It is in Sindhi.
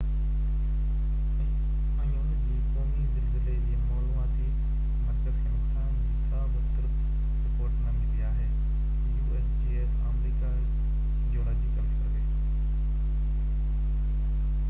آمريڪا جيولاجيڪل سروي usgs ۽ ان جي قومي زلزلي جي معلوماتي مرڪز کي نقصان جي ڪا بہ ترت رپورٽ نہ ملي آهي